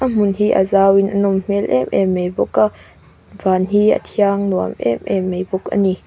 hmun hi a zau in a nawm hmel em em mei bawk a van hi a thiang nuam em em mei bawk a ni.